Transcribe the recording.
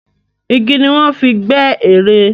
Igi ni wọ́n fi gbẹ́ ère.